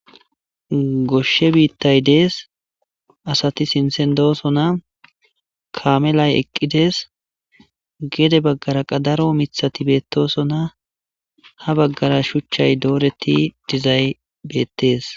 Goshshe biittay dees asati sintsen doosona kaamelay eqqides gede baggaraqadaro mithati beettosona ha baggara shuchchay dooreti dizay beettes